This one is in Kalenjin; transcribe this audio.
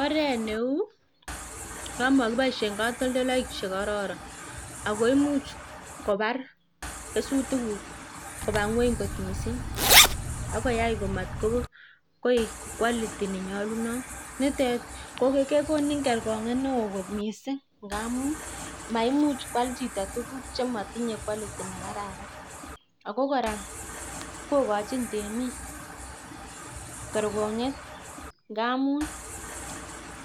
Oret neu, no makiboishe katoltolek chekororon. Ako much kopar kesutikuk kopa ng'weny kot mising akoyai amatkoek quality nenyolunot nitet kekonin kerkon'get neo kot mising. Ngamun maimuch koal chito tukuk chenatinyei quality nekararan. Ako kora kokochin temik kerkon'get ngamun